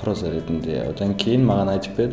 проза ретінде одан кейін маған айтып берді